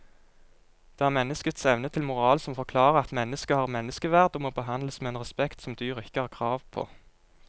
Det er menneskets evne til moral som forklarer at mennesket har menneskeverd og må behandles med en respekt som dyr ikke har krav på.